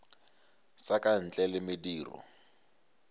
sa ka ntle le mediro